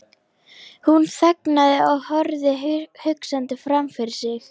Hún þagnaði og horfði hugsandi framfyrir sig.